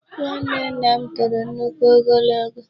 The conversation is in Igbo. Nwanne nna m toro nnukwu ogologo.